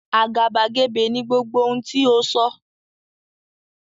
Àgàbàgebè ni gbogbo ohun tí o sọ.